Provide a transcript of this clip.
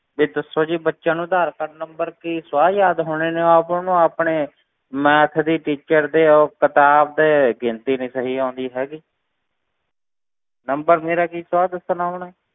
ਵੀ ਦੱਸੋ ਜੀ ਬੱਚੇ ਨੂੰ ਆਧਾਰ ਕਾਰਡ number ਕੀ ਸਵਾਹ ਯਾਦ ਹੋਣੇ ਨੇ, ਉਹ ਆਪ ਉਹਨੂੰ ਆਪਣੇ math ਦੀ teacher ਦੇ ਉਹ ਕਿਤਾਬ ਦੇ ਗਿਣਤੀ ਨੀ ਸਹੀ ਆਉਂਦੀ ਹੈਗੀ number ਮੇਰਾ ਕੀ ਸਵਾਹ ਦੱਸਣਾ ਉਹਨੇ,